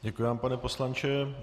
Děkuji vám, pane poslanče.